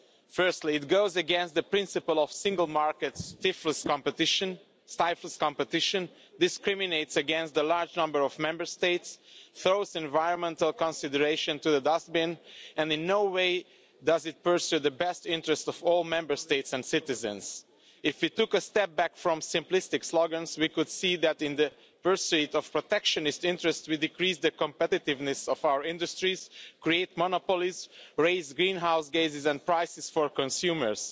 Firstly, it goes against the principles of the single market, stifles competition, discriminates against a large number of Member States, throws environmental consideration into the dustbin, and in no way does it pursue the best interests of all Member States and citizens. If we took a step back from simplistic slogans, we could see that in the pursuit of protectionist interests we decrease the competitiveness of our industries, create monopolies and raise greenhouse gases and prices for consumers.